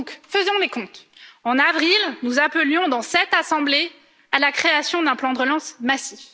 ans. Faisons donc les comptes en avril, nous appelions, dans cette Assemblée, à la création d'un plan de relance massif.